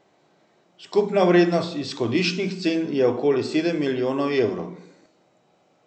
Skupna vrednost izhodiščnih cen je okoli sedem milijonov evrov.